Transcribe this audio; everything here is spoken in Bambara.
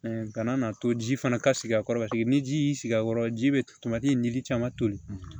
ka na to ji fana ka sigi a kɔrɔ ka jigin ni ji y'i sigi a kɔrɔ ji bɛ tomati nili caman toli